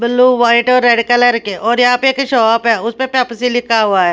Blue white और red colour के और यहां पे एक शॉप है उस पेप्सी लिखा हुआ है।